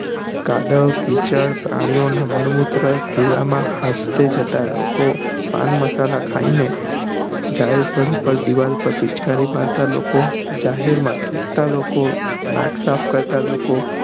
કાદવ કીચડ પ્રાણીઓ નાં મળમૂત્ર ખુલ્લા માં જતાં લોકો પાન મસાલા ખાઈ ને જાહેર સ્થળો દીવાલો પર પિચકારી મારી ને લોકો જાહેર માં થુક્તાં લોકો નાક સાફ કરતા લોકો